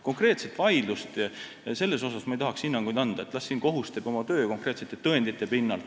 Konkreetse vaidluse kohta ma ei tahaks hinnangut anda, las kohus teeb siin oma töö konkreetsete tõendite pinnalt.